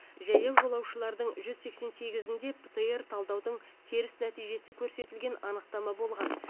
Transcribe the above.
жаяу жолаушылардың жүз сексен сегізінде птр талдаудың теріс нәтижесі көрсетілген анықтама болған